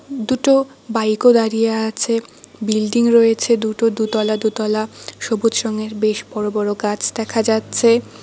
দুটো বাইক ও দাঁড়িয়ে আছে বিল্ডিং রয়েছে দুটো দুতলা দুতলা সবুজ রঙের বেশ বড় বড় গাছ দেখা যাচ্ছে।